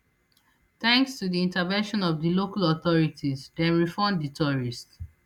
thanks to di intervention of di local authorities dem refund di tourist